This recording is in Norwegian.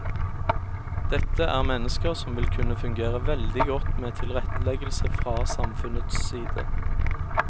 Dette er mennesker som vil kunne fungere veldig godt med tilretteleggelse fra samfunnets side.